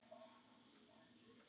Ekki til.